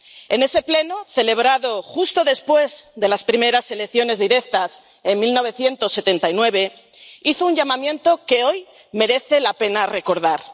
En ese pleno, celebrado justo después de las primeras elecciones directas en 1979, hizo un llamamiento que hoy merece la pena recordar.